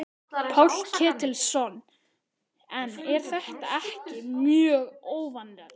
Páll Ketilsson: En er þetta ekki mjög óvanalegt?